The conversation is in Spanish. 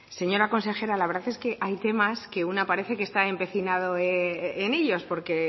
señora consejera la verdad es que hay temas que una parece que está empecinado en ellos porque